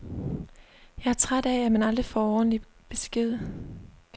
Jeg er træt af, at man aldrig kan få ordentlig besked.